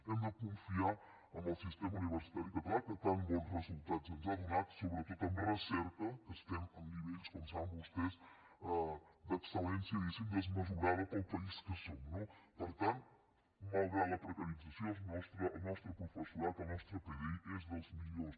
hem de confiar en el sistema universitari català que tants bons resultats ens ha donat sobretot en recerca que estem en nivells com saben vostès d’excel·lència diguéssim desmesurada pel país que som no per tant malgrat la precarització el nostre professorat el nostre pdi és dels millors